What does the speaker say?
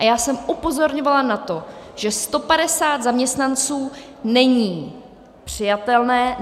A já jsem upozorňovala na to, že 150 zaměstnanců není přijatelné.